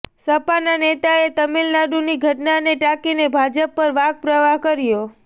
સપાના નેતાએ તમિલનાડુની ઘટનાને ટાંકીને ભાજપ પર વાકપ્રહાર કર્યો